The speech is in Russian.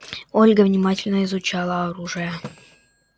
ольга внимательно изучала оружие